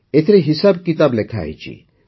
ଏଥିରେ ହିସାବ କିତାବ ଲେଖାହୋଇଛି